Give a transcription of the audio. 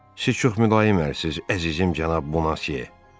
Siz çox mülayim ərsiz, əzizim cənab Bunase.